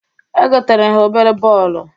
Egotara m ha obere bọọlụ.